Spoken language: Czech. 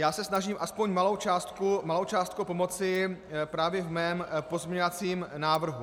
Já se snažím aspoň malou částkou pomoci právě v mém pozměňovacím návrhu.